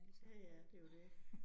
Ja ja det jo det